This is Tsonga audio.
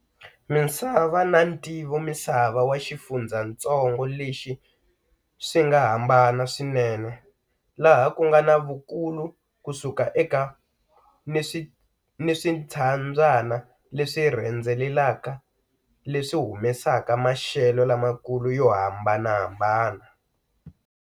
Misava na ntivomisava wa xifundzhantsongo lexi swinga hambana swinene, laha kungana vukulu kusuka eka, ni swintshabyana leswi rhendzelekaka leswi humesaka maxelo lamakulu yo hambanahambana.